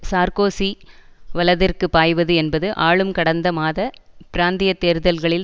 Sarkozy வலதிற்குப் பாய்வது என்பது ஆளும் கடந்த மாத பிராந்திய தேர்தல்களில்